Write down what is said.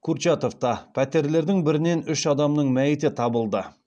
курчатовта пәтерлердің бірінен үш адамның мәйіті табылды